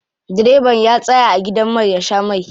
Direba ya tsaya a gidan mai ya sha mai.